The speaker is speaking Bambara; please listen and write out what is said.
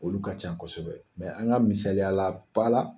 Olu ka can kosɛbɛ an ka misaliya ba la